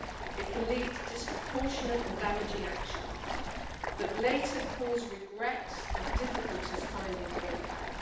It can lead to disproportionate and damaging action that later causes regret and difficulties finding a way back.